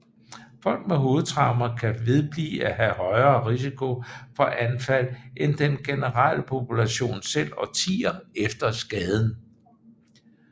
Folk med hovedtraumer kan vedblive at have en højere risiko for anfald end den generelle population selv årtier efter skaden